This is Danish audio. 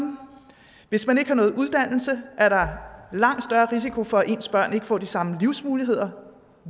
hvis man ikke har nogen uddannelse er der langt risiko for at ens børn ikke får de samme livsmuligheder